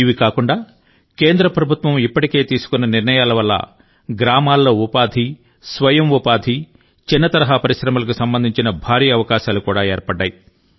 ఇవి కాకుండా కేంద్ర ప్రభుత్వం ఇప్పటికే తీసుకున్న నిర్ణయాల వల్ల గ్రామాల్లో ఉపాధి స్వయం ఉపాధి చిన్న తరహా పరిశ్రమలకు సంబంధించిన భారీ అవకాశాలు కూడా ఏర్పడ్డాయి